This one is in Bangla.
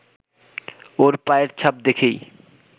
ওর পায়ের ছাপ দেখেই